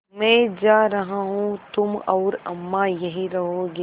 मैं जा रहा हूँ तुम और अम्मा यहीं रहोगे